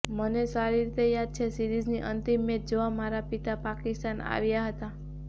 મને સારી રીતે યાદ છે સીરીઝની અંતિમ મેચ જોવા મારા પિતા પાકિસ્તાન આવ્યા હતા